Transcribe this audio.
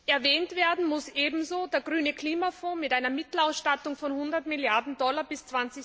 Erwähnt werden muss ebenso der Grüne Klimafonds mit einer Mittelausstattung von 100 Milliarden Dollar bis